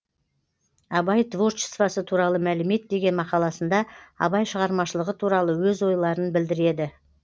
абай творчествосы туралы мәлімет деген мақаласында абай шығармашылығы туралы өз ойларын білдіреді